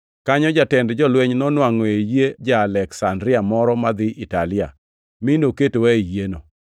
Kanyo jatend jolweny nonwangʼo yie ja-Aleksandria moro madhi Italia, mi noketowa ei yieno.